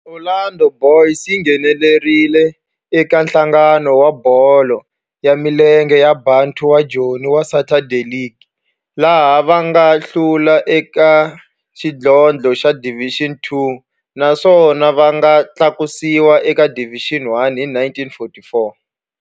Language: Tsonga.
Orlando Boys yi nghenelerile eka Nhlangano wa Bolo ya Milenge wa Bantu wa Joni wa Saturday League, laha va nga hlula eka xidlodlo xa Division Two naswona va nga tlakusiwa eka Division One hi 1944.